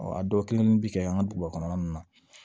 Ɔ a dɔw kelenni bɛ kɛ an ka duguba kɔnɔna ninnu na